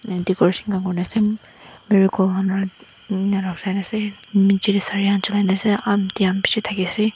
decoration khan kurikaena ase marigold han aunty khan bishi thakiase.